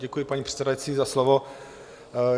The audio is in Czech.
Děkuji, paní předsedající, za slovo.